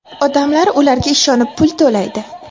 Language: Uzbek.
Odamlar ularga ishonib pul to‘laydi.